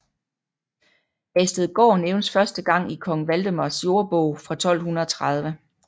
Hagestedgaard nævnes første gang i kong Valdemars jordbog fra 1230